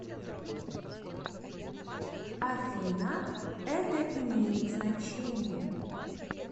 афина это имеет значение